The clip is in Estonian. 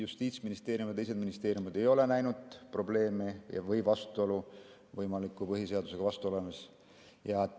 Justiitsministeerium ja teised ministeeriumid ei ole näinud probleemi või võimalikku põhiseadusega vastuolus olemist.